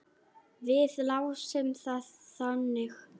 Við lásum það þannig.